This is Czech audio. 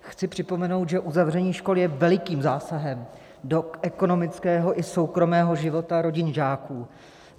Chci připomenout, že uzavření škol je velikým zásahem do ekonomického i soukromého života rodin žáků.